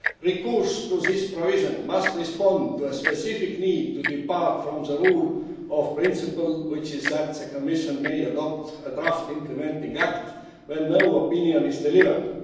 Recourse to this provision must respond to a specific need to depart from the rule of principle which is that the Commission may adopt a draft implementing act when no opinion is delivered.